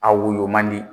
A woyo man di